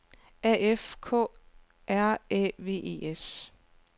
A F K R Æ V E S